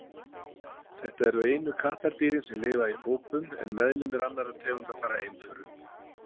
Þau eru einu kattardýrin sem lifa í hópum en meðlimir annarra tegunda fara einförum.